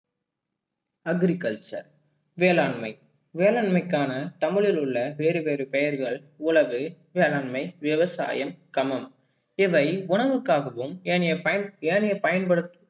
agriculture வேளாண்மை வேளாண்மைக்கான தமிழில் உள்ள வேறு வேறு பெயர்கள் உளவு, வேளாண்மை, விவசாயம், சமம் இவை உரவுக்காகவும் ஏனைய பயன் ஏனைய படுத்த